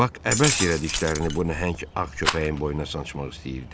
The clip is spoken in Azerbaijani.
Bak əbəs yerə dişlərini bu nəhəng ağ köpəyin boynuna sancmaq istəyirdi.